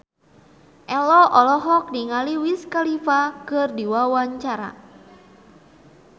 Ello olohok ningali Wiz Khalifa keur diwawancara